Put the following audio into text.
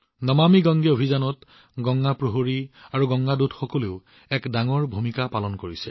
নমামি গংগে অভিযানত গংগা প্ৰহৰী আৰু গংগা দূতৰো এক বৃহৎ ভূমিকা আছে